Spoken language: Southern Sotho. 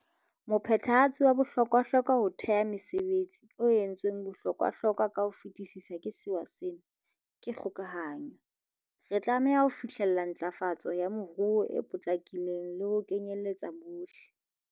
Mophethehatsi wa bohlokwa-hlokwa ho theha mesebe tsi, o entsweng bohlokwahlo kwa ka ho fetisisa ke sewa sena, ke kgokahanyo. Re tlameha ho fihlella ntlafa tso ya moruo e potlakileng le ho kenyeletsa bohle.